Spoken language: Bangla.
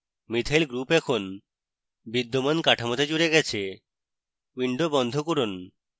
মিথাইল group এখন বিদ্যমান কাঠামোতে জুড়ে গেছে উইন্ডো বন্ধ করুন